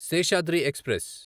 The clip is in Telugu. శేషాద్రి ఎక్స్ప్రెస్